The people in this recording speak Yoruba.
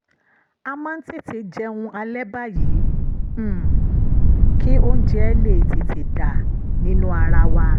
a máa ń tètè jẹun alẹ́ báyìí um kí oúnjẹ lè tètè dà nínú ara wa